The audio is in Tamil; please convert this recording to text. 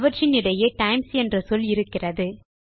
அவற்றின் இடையே டைம்ஸ் என்ற சொல் இருக்கிறது